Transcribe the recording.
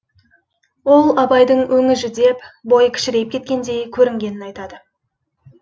ол абайдың өңі жүдеп бойы кішірейіп кеткендей көрінгенін айтады